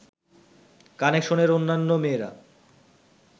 কানেকশনের অন্যান্য মেয়েরা